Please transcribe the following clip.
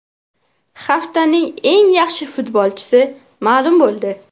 Haftaning eng yaxshi futbolchisi ma’lum bo‘ldi.